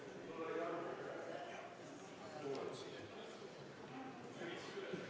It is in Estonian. Palun kontrollida hääletamiskasti ja seda, et turvaplomm ei oleks rikutud!